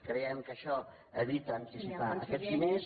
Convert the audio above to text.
creiem que això evita anticipar aquests diners